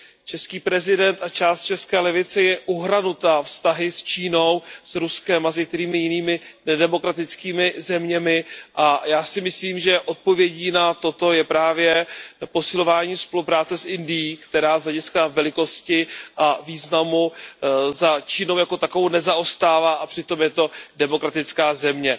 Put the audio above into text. Český prezident a část české levice je uhranutá vztahy s Čínou, s Ruskem a s některými jinými nedemokratickými zeměmi a já si myslím, že odpovědí na toto je právě posilování spolupráce s Indií, která z hlediska velikosti a významu za Čínou jako takovou nezaostává a přitom je to demokratická země.